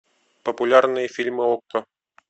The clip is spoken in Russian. популярные фильмы окко